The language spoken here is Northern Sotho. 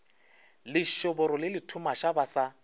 lešoboro le lethumaša ba sa